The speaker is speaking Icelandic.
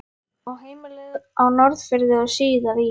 Á heimilið á Norðfirði og síðar í